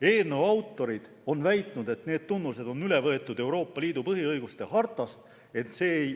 Eelnõu autorid on väitnud, et need tunnused on üle võetud Euroopa Liidu põhiõiguste hartast.